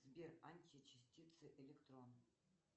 сбер античастицы электрон